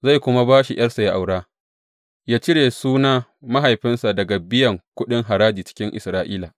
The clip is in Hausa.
Zai kuma ba shi ’yarsa yă aura, yă cire suna mahaifinsa daga biyan kuɗin haraji cikin Isra’ila.